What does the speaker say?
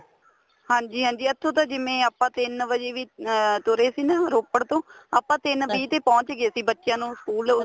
ਹਾਂਜੀ ਹਾਂਜੀ ਇੱਥੋ ਤਾਂ ਜਿਵੇਂ ਆਪਾਂ ਤਿੰਨ ਵਜੇ ਵੀ ਅਹ ਤੁਰੇ ਸੀ ਨਾ ਰੋਪੜ ਤੋਂ ਆਪਾਂ ਤਿੰਨ ਵੀਹ ਤੇ ਪੋਹੁੰਚ ਗਏ ਸੀ ਬੱਚਿਆਂ ਨੂੰ school